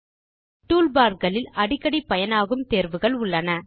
toolbar களில் அடிக்கடி பயனாகும் தேர்வுகள் உள்ளன